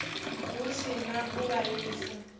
hu si na u vhaisa